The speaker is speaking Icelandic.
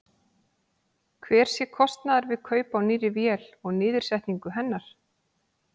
Hver sé kostnaður við kaup á nýrri vél og niðursetningu hennar?